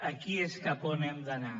aquí és cap on hem d’anar